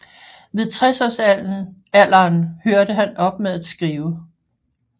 Ved 60 års alderen hørte han op med at skrive